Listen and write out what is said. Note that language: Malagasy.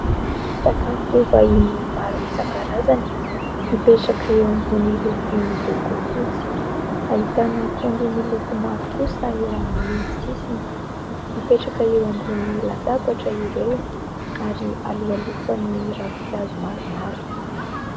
Sakafo vahiny maro isan-karazany mipetraka eo ambony lovia miloko fotsy, ahitana akondro miloko mavo kosa eo amin'ny sisiny, mipetraka eo ambony latabatra ireo ary aloalofan'ny ravin-kazo maromaro.